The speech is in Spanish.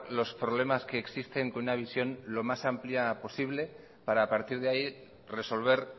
los problemas que existen con una visión lo más amplia posible para a partir de ahí resolver